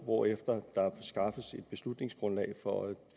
hvorefter der skaffes et beslutningsgrundlag for at